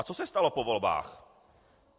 A co se stalo po volbách?